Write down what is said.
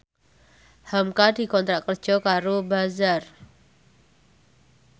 hamka dikontrak kerja karo Bazaar